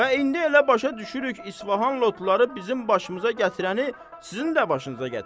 Və indi elə başa düşürük İsfağan lotları bizim başımıza gətirəni sizin də başınıza gətirib.